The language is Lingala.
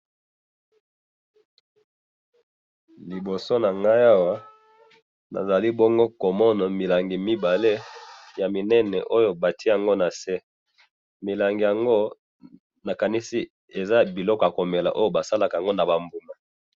Liboso nangayi awa, nazali bongo komona, milangi mibale yaminene oyo batye yango nase, milangi yango nakanisi eza biloko yakomela oyo basalaka yango nabambuma